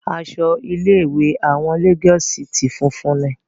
Aṣọ ilé ìwé àwọn Lagos city funfun ni.